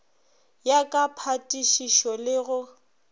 ya ka phatišišo le go